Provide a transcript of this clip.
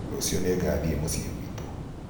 rũciũ nĩngathiĩ muciĩ gwĩtũ